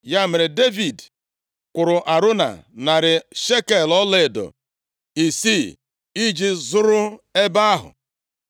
Ya mere, Devid kwụrụ Arauna narị shekel ọlaedo isii iji zụrụ ebe ahụ.